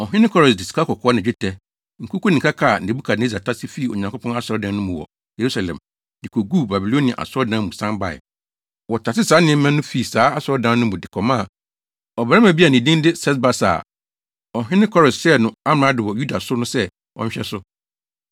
Ɔhene Kores de sikakɔkɔɔ ne dwetɛ, nkuku ne nkaka a Nebukadnessar tase fii Onyankopɔn asɔredan no mu wɔ Yerusalem de koguu Babilonia asɔredan mu no san bae. Wɔtasee saa nneɛma no fii saa asɔredan no mu de kɔmaa ɔbarima bi a ne din de Sesbasar a ɔhene Kores hyɛɛ no amrado wɔ Yuda no sɛ ɔnhwɛ so.